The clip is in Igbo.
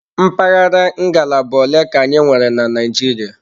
Mpaghara ngalaba ole ka anyị nwere na Naịjirịa?